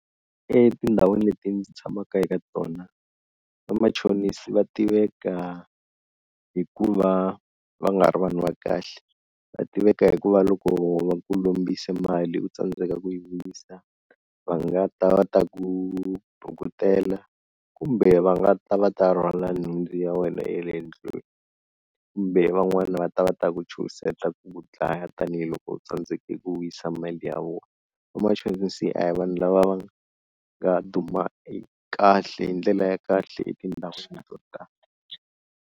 Etindhawini leti ndzi tshamaka eka tona vamachonisi va tiveka hi ku va va nga ri vanhu va kahle, va tiveka hi ku va loko va ku lombise mali u tsandzeka ku yi vuyisa va nga ta va ta ku bukutela kumbe va nga ta va ta rhwala nhundzu ya wena ya le ndlwini, kumbe van'wana va ta va ta ku chuhiseta ku ku dlaya tanihiloko u tsandzeke ku vuyisa mali ya vona, vamachonisi a hi vanhu lava va nga duma i kahle hi ndlela ya kahle etindhawini to tala.